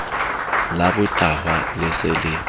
la botahwa le se le